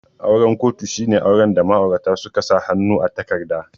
Auren kotu shine auren da ma'aurata suka sa hannu a takarda